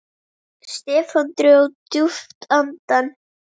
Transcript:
Stefán dró djúpt andann.